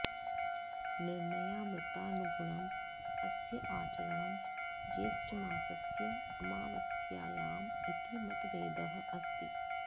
निर्णयामृतानुगुणम् अस्य आचरणं ज्येष्ठमासस्य आमावास्यायाम् इति मतभेदः अस्ति